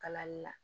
Kalanli la